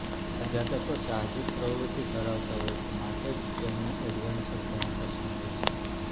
આ જાતકો સાહસિક પ્રવૃત્તિ ધરાવતા હોય છે માટે જ તેમને એડવેન્ચર ઘણું પસંદ હોય છે